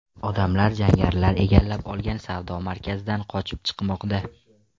Odamlar jangarilar egallab olgan savdo markazidan qochib chiqmoqda.